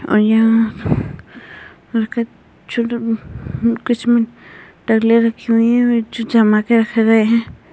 और यहाँ किसी में रखी हैं जो जमाके रख गए हैं।